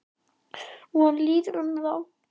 Og hann líður um þá.